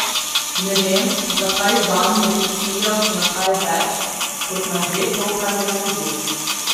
Ne vem, zakaj Žan ne bi ciljal še na kaj več, kot na že to, kar je naredil.